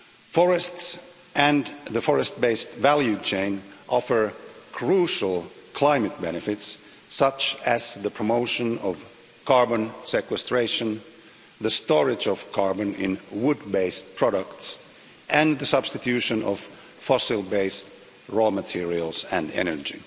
Forests and the forest based value chain offer crucial climate benefits, such as the promotion of carbon sequestration, the storage of carbon in wood based products, and the substitution of fossil based raw materials and energy.